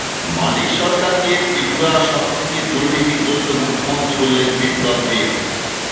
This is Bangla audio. মানিক সরকারকে ত্রিপুরার সব থেকে দুর্নীতিগ্রস্ত মুখ্যমন্ত্রী বললেন বিপ্লব দেব